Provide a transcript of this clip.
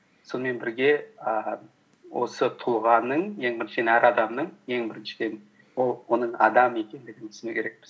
сонымен бірге ііі осы тұлғаның ең біріншіден әр адамның ең біріншіден ол оның адам екендігін түсіну керекпіз